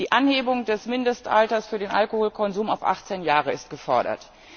Die Anhebung des Mindestalters für den Alkoholkonsum auf 18 Jahre ist gefordert.